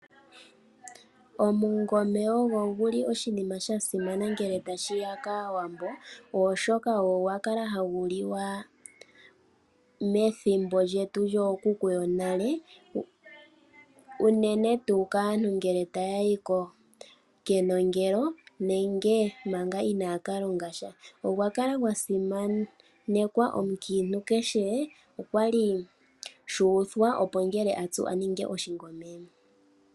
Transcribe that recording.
Oshikwiila oshinima shasimana ngele tashiya kaawambo oshoka, ogo gwakala hagu liwa methimbo lyetu lyookuku yonale, unene tu kaantu ngele ta ya yi kenongelo nenge manga inaya kalonga sha. Osha kala shasimanekwa omukiintu kehe okwali shuuthwa opo ngele atsu aninge oshikwiila.